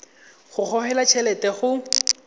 go gogelwa t helete go